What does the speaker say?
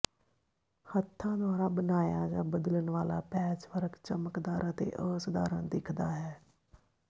ਹੱਥਾਂ ਦੁਆਰਾ ਬਣਾਇਆ ਜਾਂ ਬਦਲਣ ਵਾਲਾ ਪੈਚਵਰਕ ਚਮਕਦਾਰ ਅਤੇ ਅਸਧਾਰਨ ਦਿਖਦਾ ਹੈ